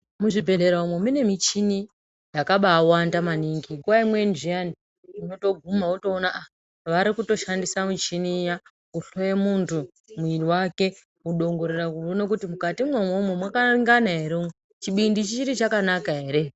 Muzvibhehlera umwo mune michini yakabawanda maningi. Nguwa imweni zvyani unotoguma wotopona ah varikutoshandisa michini iya kuhloye muntu mwiri wake kudongorera kuona kuti mukatimwo umwomwo muchakanaka ere. Chibindi chichiri chakanaka ere.